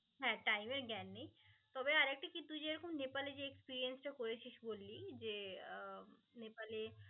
হ্যা time এর জ্ঞান নেই. তবে আর একটা কি, তুই যেরকম নেপালে experience টা করেছিস বললি যে আহ নেপালে